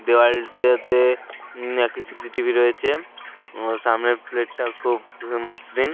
দেওয়ালটাতে উম একটি সি.সি.টি.ভি. রয়েছে আর সামনের প্লেট -টা খুব মসৃণ।